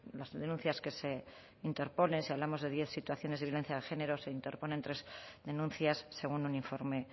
las denuncias que se interponen si hablamos de diez situaciones de violencia de género se interponen tres denuncias según un informe